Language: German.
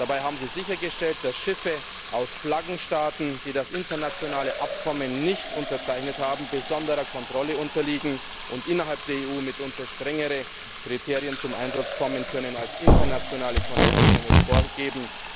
Dabei haben sie sichergestellt, dass Schiffe aus Flaggenstaaten, die das internationale Abkommen nicht unterzeichnet haben, besonderer Kontrolle unterliegen und innerhalb der EU mitunter strengere Kriterien zum Einsatz kommen können, als internationale Konventionen es vorgeben.